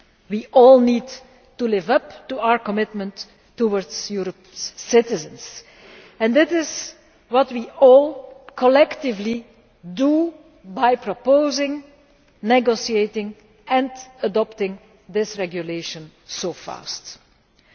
We all need to live up to our commitment to Europe's citizens, and that is what we all collectively have done by proposing, negotiating and adopting this regulation so quickly.